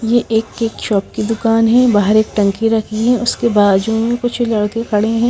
ये एक cake shop की दुकान है बाहर एक टंकी रखी है उसके बाजू में कुछ लड़के खड़े हैं।